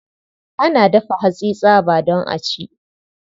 Ana dafa hatsi tsaba don a ci.